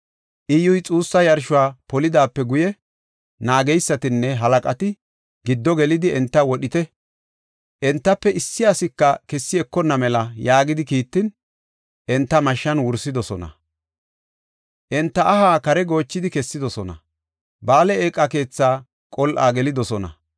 Iyyuy xuussa yarshuwa polidaape guye, naageysatanne halaqata, “Giddo gelidi, enta wodhite. Entafe issi asika kessi ekonna mela” yaagidi kiittin, enta mashshan wursidosona. Enta aha kare goochidi kessidosona; Ba7aale eeqa keetha qol7a gelidosona.